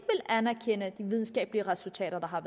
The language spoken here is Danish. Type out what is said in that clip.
anerkende hvad videnskabelige resultater har